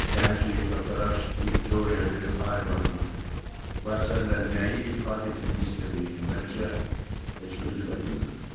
Gənc heykəltaraş Vittoria de Aribanın bu əsərlə nəyi ifadə etmək istədiyini bəlkə heç özü də bilmirdi.